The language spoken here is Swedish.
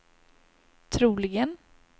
troligen